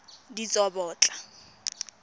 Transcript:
ditsobotla